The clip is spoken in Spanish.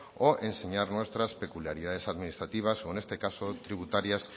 o enseñar nuestras peculiaridades administrativas o en este caso tributarias